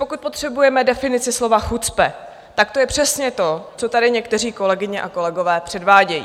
Pokud potřebujeme definici slova chucpe, tak to je přesně to, co tady někteří kolegové a kolegyně předvádějí.